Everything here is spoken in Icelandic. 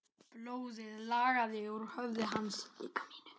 Blóðið lagaði úr höfði hans.